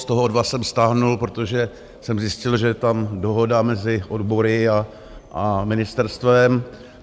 Z toho dva jsem stáhl, protože jsem zjistil, že je tam dohoda mezi odbory a ministerstvem.